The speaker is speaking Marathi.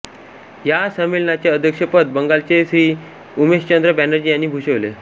या संमेलनाचे अध्यक्षपद बंगालचे श्री उमेशचंद्र बॅनजी॔ यांनी भूषविले